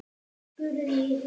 spurði ég hissa.